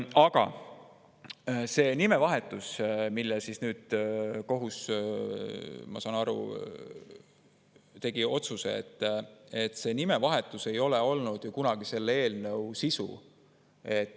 Aga see nimevahetus, mille kohta nüüd kohus, ma saan nii aru, tegi otsuse, ei ole olnud ju kunagi selle eelnõu sisu.